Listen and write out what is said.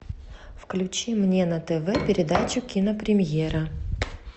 включи мне на тв передачу кинопремьера